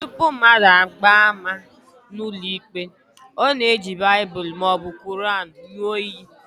Tupu mmadụ agbaa ama n'ụlọikpe, ọ na-eji Baịbụl maọbụ Quran ṅụọ iyi